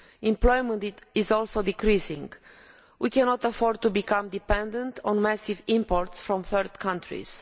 Employment is also decreasing. We cannot afford to become dependent on massive imports from third countries.